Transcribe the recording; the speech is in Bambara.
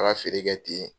A ka feere kɛ ten